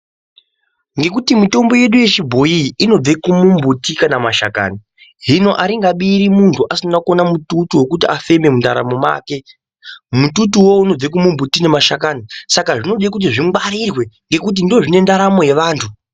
Ngekuti mitombo yedu yechibhoyi inobve kumumbuti kana kumashakani. Hino akungabiri muntu asina kuona mututu wekuti afeme mundaramo mwake. Mututu uvo unobve kumumbuti nemashakani saka zvinode kuti zvingwarirwe ngekuti ndoozvine ndaramo yevantu.